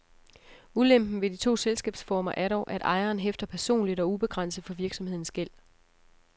Ulempen ved de to selskabsformer er dog, at ejeren hæfter personligt og ubegrænset for virksomhedens gæld.